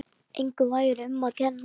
Engum væri um að kenna.